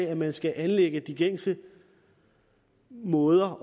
at man skal anlægge de gængse måder